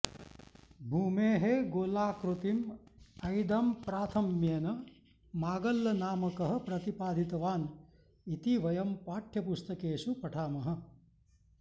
भूमेः गोलाकृतिम् ऐदम्प्राथम्येन मागल्लनामकः प्रतिपादितवान् इति वयं पाठयपुस्तकेषु पठामः